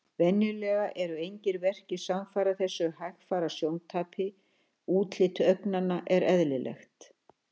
Venjulega eru engir verkir samfara þessu hægfara sjóntapi og útlit augnanna er eðlilegt.